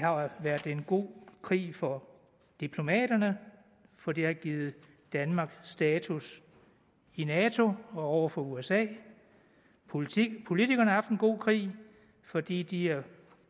har været en god krig for diplomaterne for det har givet danmark status i nato og over for usa politikerne har haft en god krig fordi de er